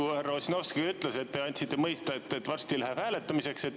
Nagu härra Ossinovski ütles, te andsite mõista, et varsti läheb hääletamiseks.